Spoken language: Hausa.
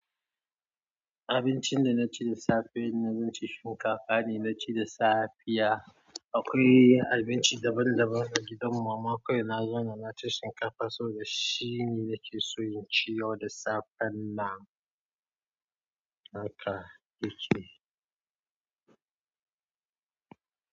Abincin da na ci da safe ne zan ci shinkafa ne na ci da safiya. Akwai abinci daban daban a gidan mama kawai na zauna na ci shinkafa saboda shi ne nake so in ci yau da safen nan. Haka yake.